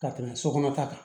Ka tɛmɛ so kɔnɔ ta kan